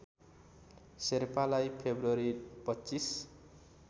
शेर्पालाई फेब्रुअरी २५